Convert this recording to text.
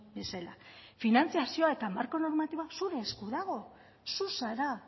bezala finantzazioa eta marko normatiboa zure esku dago zu zara